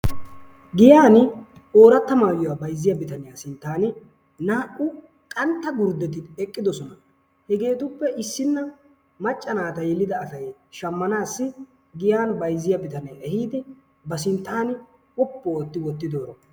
Giyaan ooratta maayuwa bayzziya bitaniyaa sinttan naa''u qanxxa gurddeti eqqidoosona. hegetuppe issina macca naata yelidaa asay shammnas giyan bayzziya bitanee eehidi ba sinttan quppu ooti wottidooro